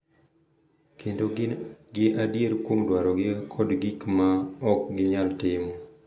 Kendo gi adier kuom dwarogi kod gik ma ok ginyal timo.